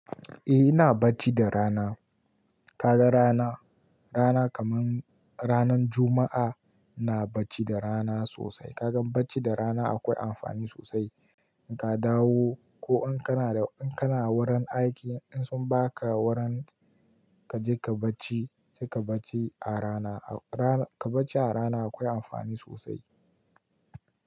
Eh ina bacci da rana. Kaga rana, rana kaman ranan Juma'a, ina bacci da rana sosai. Kaga bacci da rana akwai amfani sosai. In ka dawo ko in kana da, in kana wurin aiki in sun baka wurin kaje ka bacci, sai ka bacci a rana. A rana, ka bacci a rana akwai amfani sosai.